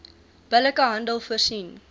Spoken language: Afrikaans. billike handel voorsien